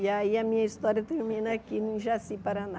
E aí a minha história termina aqui no Jaci, Paraná.